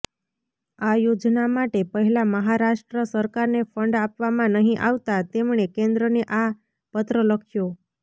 આ યોજના માટે પહેલા મહારાષ્ટ્ર સરકારને ફંડ આપવામાં નહીં આવતા તેમણે કેન્દ્રને આ પત્ર લખ્યો